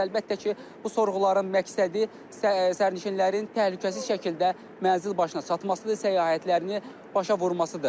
Əlbəttə ki, bu sorğuların məqsədi sərnişinlərin təhlükəsiz şəkildə mənsil başına çatmasıdır, səyahətlərini başa vurmasıdır.